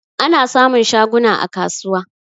Ana samun shaguna a kasuwa.